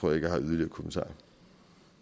så at